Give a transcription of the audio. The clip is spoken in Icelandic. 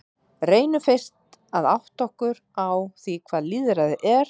Reynum fyrst að átta okkur á því hvað lýðræði er.